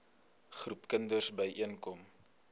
groepe kinders byeenkom